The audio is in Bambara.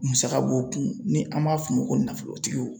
Musaka b'o kun ni an b'a f'o ma ko nafolotigiw